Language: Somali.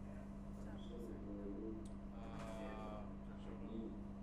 Barashada beeralayda khibradda leh waa muhiim.